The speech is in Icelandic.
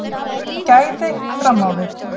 Gæði fram á við